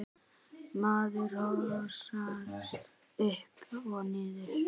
Maður hossast upp og niður.